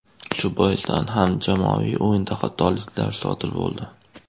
Shu boisdan ham jamoaviy o‘yinda xatoliklar sodir bo‘ldi.